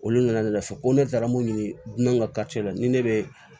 Olu nana fɔ ko ne taara mun ɲini dun ka la ni ne be